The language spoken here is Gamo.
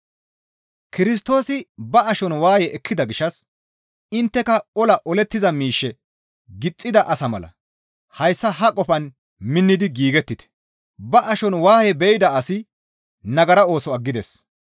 Kirstoosi ba ashon waaye ekkida gishshas intteka ola olettiza miishshe gixxida asa mala hayssa ha qofaan minnidi giigettite; ba ashon waaye be7ida asi nagara ooso aggides.